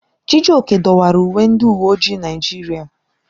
Chijioke dọwara uwe ndị uwe ojii Naịjirịa.